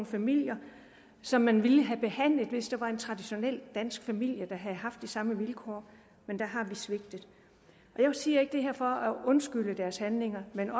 familien som man ville have behandlet hvis det var en traditionel dansk familie der havde haft de samme vilkår men der har vi svigtet jeg siger ikke det her for at undskylde deres handlinger men